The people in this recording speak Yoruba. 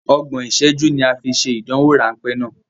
Ọgbọ̀n ìṣẹ́jú ni a fi ṣe ìdánwò ráńpé náà.